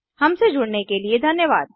हमसे जुड़ने के लिए धन्यवाद